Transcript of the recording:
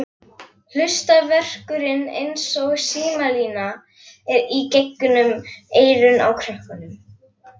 Hlustarverkurinn eins og símalína í gegnum eyrun á krökkunum.